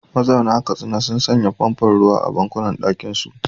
Mazauna Katsina sun sanya famfon ruwa a banɗakunansu.